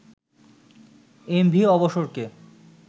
MV অবসরকে